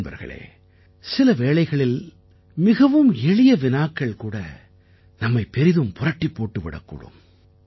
நண்பர்களே சில வேளைகளில் மிகவும் எளிய வினாக்கள் கூட நம்மைப் பெரிதும் புரட்டிப் போட்டு விடக் கூடும்